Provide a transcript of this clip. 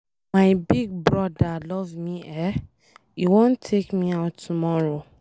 My big broda love me eh, e wan take me out tomorrow.